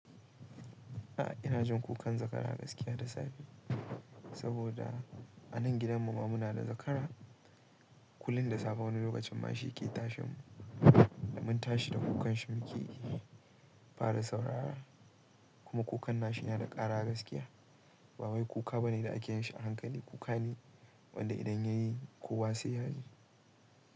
A'a ina jin kukan zakara gaskiya da safe, saboda a nan gidan mu ma muna da zakara. Kulin da safe wani lokacin ma shi ke tashin mu da mun tashi da kukanshi muke fara saurara kuma kukan nashi na da ƙara gaskiya. Ba wai kuka bane da ake yin shi a hankali, kuka ne wanda idan yayi kowa sai yaji.